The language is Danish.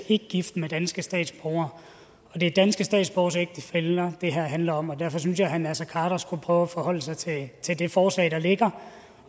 ikke gift med danske statsborgere det er danske statsborgeres ægtefæller det her handler om og derfor synes jeg at herre naser khader skulle prøve at forholde sig til det forslag der ligger